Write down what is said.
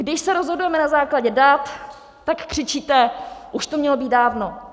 Když se rozhodujeme na základě dat, tak křičíte: už to mělo být dávno!